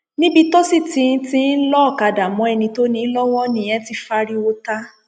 níbi tó sì ti ti ń lo ọkadà mọ ẹni tó ní in lọwọ nìyẹn ti fáríwọ ta